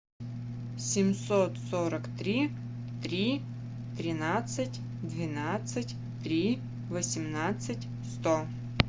семьсот сорок три три тринадцать двенадцать три восемнадцать сто